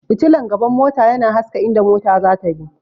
fitilan gaban mota yana haska inda mota zata bi